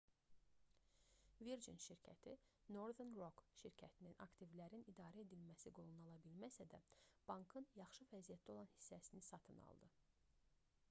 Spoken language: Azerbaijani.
virgin şirkəti northern rock şirkətinin aktivlərin idarə edilməsi qolunu ala bilməsə də bankın yaxşı vəziyyətdə olan hissəsini satın aldı